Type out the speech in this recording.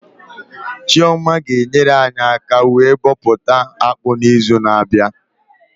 Chioma ga enyere anyị aka wee bọpụta akpụ na izu na abịa